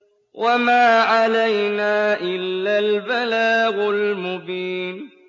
وَمَا عَلَيْنَا إِلَّا الْبَلَاغُ الْمُبِينُ